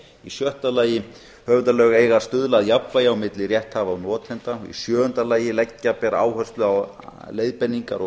í sjötta lagi höfundalög eiga að stuðla að jafnvægi á milli rétthafa og notenda í sjöunda lagi leggja ber áherslu á leiðbeiningar og